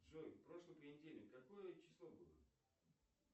джой в прошлый понедельник какое число было